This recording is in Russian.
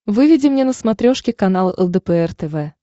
выведи мне на смотрешке канал лдпр тв